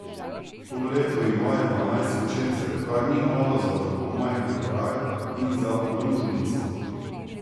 To leto imajo dvanajst učencev, kar ni malo za tako majhen kraj in za podružnico.